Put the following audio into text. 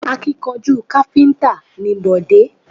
Akíkanjú káfíntà ni Bọ̀dé